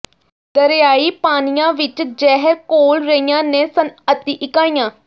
ਦਰਿਆਈ ਪਾਣੀਆਂ ਵਿੱਚ ਜ਼ਹਿਰ ਘੋਲ਼ ਰਹੀਆਂ ਨੇ ਸਨਅਤੀ ਇਕਾਈਆਂ